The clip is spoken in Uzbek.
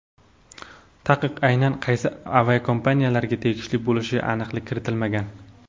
Taqiq aynan qaysi aviakompaniyalarga tegishli bo‘lishiga aniqlik kiritilmagan.